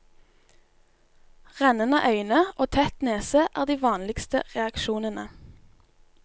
Rennende øyne og tett nese er de vanligste reaksjonene.